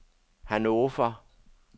Hannover